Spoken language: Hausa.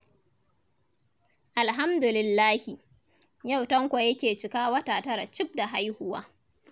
Alhamdulillahi. Yau Tanko yake cika wata tara cif da haihuwa.